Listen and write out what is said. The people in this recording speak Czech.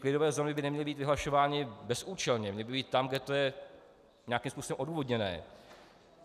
Klidové zóny by neměly být vyhlašovány bezúčelně, měly by být tam, kde to je nějakým způsobem odůvodněné.